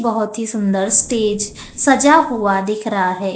बहोत ही सुंदर स्टेज सजा हुआ दिख रहा है।